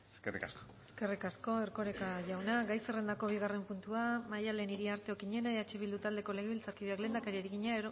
eskerrik asko eskerrik asko erkoreka jauna gai zerrendako bigarren puntua galdera maddalen iriarte okiñena eh bildu taldeko legebiltzarkideak lehendakariari egina